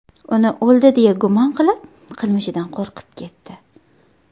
Uni o‘ldi deya gumon qilib, qilmishidan qo‘rqib ketdi.